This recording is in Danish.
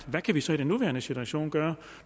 hvad kan vi så i den nuværende situation gøre